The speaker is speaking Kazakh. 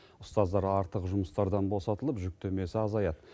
ұстаздар артық жұмыстардан босатылып жүктемесі азаяды